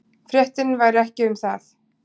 Fréttin væri ekki um það.